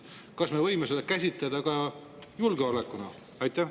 Kas me võime seda käsitleda ka julgeolekuna?